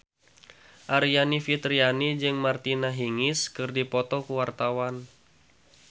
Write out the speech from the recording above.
Aryani Fitriana jeung Martina Hingis keur dipoto ku wartawan